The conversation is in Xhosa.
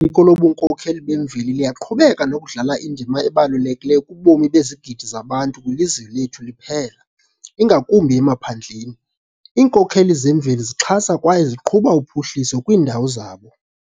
ko lobunkokheli bemveli liyaqhubeka nokudlala indima ebalulekileyo kubomi bezigidi zabantu kwilizwe lethu liphela, ingakumbi emaphandleni. Iinkokheli zemveli zixhasa kwaye ziqhuba uphuhliso kwiindawo zabo.